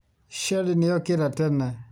Sherry nĩ okĩra tene.